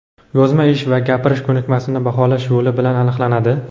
yozma ish va gapirish ko‘nikmasini baholash yo‘li bilan aniqlanadi.